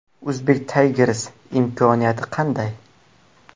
Uzbek Tigers’ning imkoniyati qanday?.